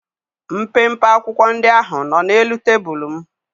Mpempe akwụkwọ ndị ahụ nọ n'elu tebụlụ m.